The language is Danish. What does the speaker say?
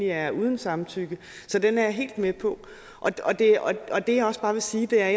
er uden samtykke så den er jeg helt med på og det jeg også bare vil sige er